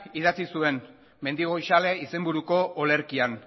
idatzi zuen mendigoizale izenburuko olerkian